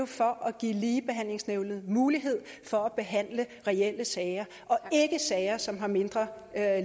for at give ligebehandlingsnævnet mulighed for at behandle reelle sager og ikke sager som har mindre